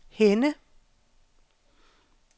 Henne